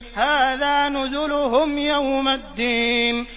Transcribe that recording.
هَٰذَا نُزُلُهُمْ يَوْمَ الدِّينِ